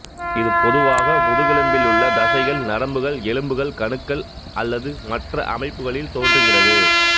இது பொதுவாக முதுகெலும்பிலுள்ள தசைகள் நரம்புகள் எலும்புகள் கணுக்கள் அல்லது மற்ற அமைப்புகளில் தோன்றுகிறது